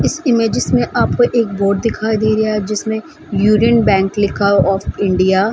इस इमेजेस में आपको एक बोर्ड दिखाई दे रहा है जिसमें उरीन बैंक लिखा ऑफ इंडिया --